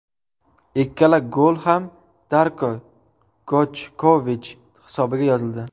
Ikkala gol ham Darko Gojkovich hisobiga yozildi.